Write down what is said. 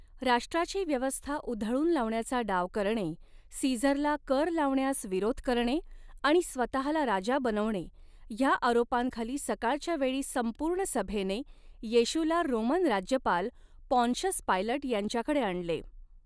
राष्ट्राची व्यवस्था उधळून लावण्याचा डाव करणे, सीझरला कर लावण्यास विरोध करणे आणि स्वतःला राजा बनवणे ह्या आरोपांखाली सकाळच्या वेळी संपूर्ण सभेने येशूला रोमन राज्यपाल पॉन्शस पायलट यांच्याकडे आणले.